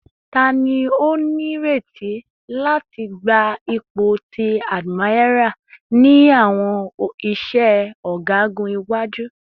Tani o nireti lati gba ipo ti admiral ni awọn iṣẹ ọgagun iwaju?